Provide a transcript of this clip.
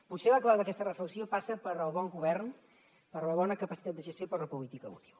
potser la clau d’aquesta reflexió passa pel bon govern per la bona capacitat de gestió i per la política útil